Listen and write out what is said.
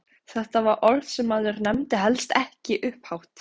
Þetta var orð sem maður nefndi helst ekki upphátt!